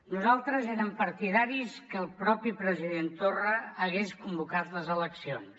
nosaltres érem partidaris que el mateix president torra hagués convocat les eleccions